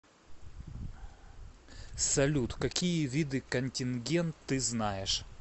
салют какие виды контингент ты знаешь